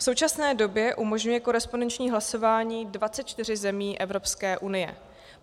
V současné době umožňuje korespondenční hlasování 24 zemí Evropské unie.